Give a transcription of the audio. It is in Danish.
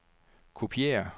kopiér